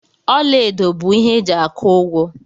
Ọla edo bụ ihe eji aku ụgwọ.